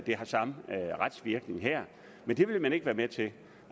har samme retsvirkning men det vil man ikke være med til